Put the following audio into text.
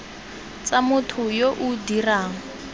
tsa motho yo o dirang